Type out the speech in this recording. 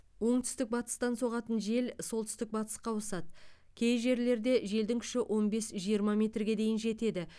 оңтүстік батыстан соғатын жел солтүстік батысқа ауысады кей жерлерде желдің күші он бес жиырма метрге дейін жетеді